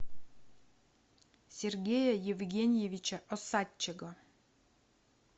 сергея евгеньевича осадчего